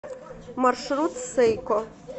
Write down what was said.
маршрут сэйко